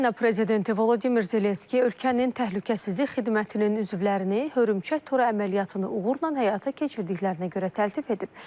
Ukrayna prezidenti Volodimir Zelenski ölkənin təhlükəsizlik xidmətinin üzvlərini hörümçək toru əməliyyatını uğurla həyata keçirdiklərinə görə təltif edib.